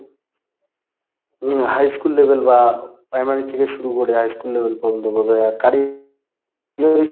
উম high school level বা primary থেকে শুরু করে high school level পর্যন্ত বোঝায় আর কারি ওই;